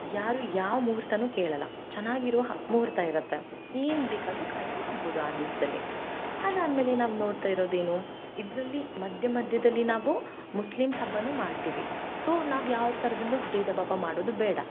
ಯಾರು ಯಾವ ಮುಹೂರ್ಥನು ಕೇಳಲ್ಲಾ ಚನ್ನಾಗಿರೋ ಮುಹೂರ್ತ ಇರತ್ತೆ ಏನ ಬೇಕಾದ್ರು ಕಾರ್ಯ ಮಾಡಬಹುದು ಆ ದಿವಸದಲ್ಲಿ ಅದ್ ಆದ್ಮೇಲೆ ನಾವ ನೋಡ್ತಾ ಇರೋದ ಏನ ಇದ್ರಲ್ಲಿ ಮದ್ಯಮದ್ಯದಲ್ಲಿ ನಾವು Muslim ಹಬ್ಬನು ಮಾಡುತ್ತೇವ so ನಾವ ಯಾವ ತರಹದಲ್ಲೂ ಬೇದಬಾವ ಮಾಡೋದು ಬೇಡ.